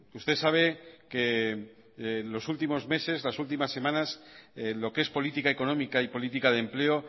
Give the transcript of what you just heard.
usted sabe que los últimos meses las últimas semanas lo que es política económica y política de empleo